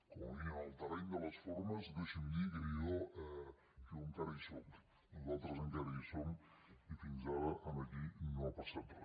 com a mínim en el terreny de les formes deixi’m dir que jo encara hi sóc nosaltres encara hi som i fins ara aquí no ha passat re